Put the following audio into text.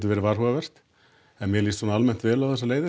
verið varhugavert en mér líst vel á þessar leiðir